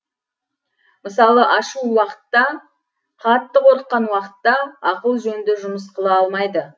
мысалы ашу уақытта қатты қорыққан уақытта ақыл жөнді жұмыс қыла алмайды